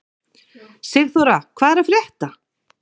Sigþóra, hvað er að frétta?